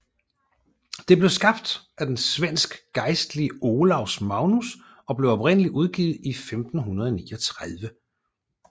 Det blev skabt af den svenske gejstlige Olaus Magnus og blev oprindeligt udgivet i 1539